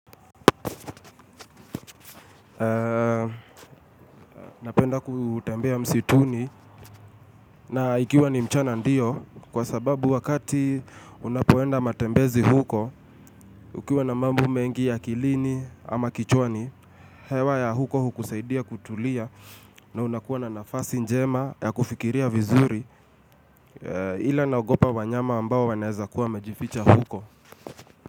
Napenda kutembea msituni na ikiwa ni mchana ndio kwa sababu wakati unapoenda matembezi huko, ukiwa na mambu mengi ya akilini ama kichwani, hewa ya huko hukusaidia kutulia na unakuwa na nafasi njema ya kufikiria vizuri ila naogopa wanyama ambao wanaeza kuwa wamajificha huko.